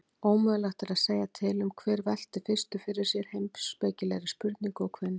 Ómögulegt er að segja til um hver velti fyrstur fyrir sér heimspekilegri spurningu og hvenær.